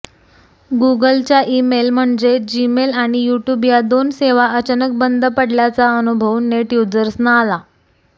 गुगलच्या इमेल म्हणजे जीमेल आणि युट्यूब या दोन सेवा अचानक बंद पडल्याचा अनुभव नेटयुजर्सना आला